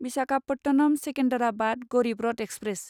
Visakhapatnam Secunderabad Garib Rath express